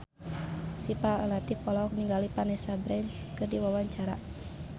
Syifa Latief olohok ningali Vanessa Branch keur diwawancara